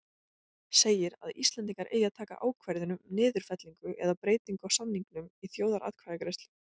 segir, að Íslendingar eigi að taka ákvörðun um niðurfellingu eða breytingu á samningnum í þjóðaratkvæðagreiðslu.